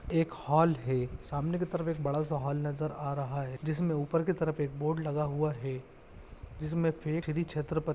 एक हॉल है। सामने की तरफ़ एक बड़ा-सा हॉल नजर आ रहा है। जिसमे ऊपर की तरफ़ एक बोर्ड लगा हुआ है। जिसमे छत्रप--